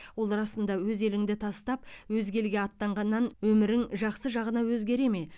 ол расында өз еліңді тастап өзге елге аттанғаннан өмірің жақсы жағына өзгере ме